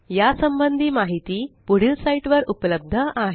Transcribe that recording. या संबंधी माहिती पुढील साईटवर उपलब्ध आहे